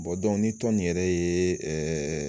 ni tɔn nin yɛrɛ ye ɛɛ